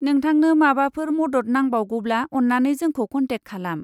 नोंथांनो माबाफोर मदद नांबावगौब्ला अन्नानै जोंखौ कनटेक खालाम।